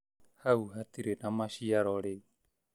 Hau hatirĩ na machiaro rĩu